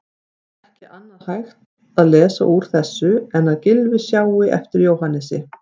Ekki annað hægt að lesa úr þessu en að Gylfi sjái eftir Jóhannesi.